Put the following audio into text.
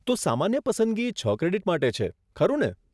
તો સામાન્ય પસંદગી છ ક્રેડિટ માટે છે, ખરું ને?